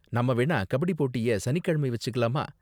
நாம வேணா கபடி போட்டிய சனிக்கிழமை வெச்சுக்கலாமா?